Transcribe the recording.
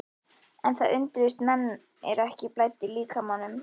En það undruðust menn er ekki blæddi líkamanum.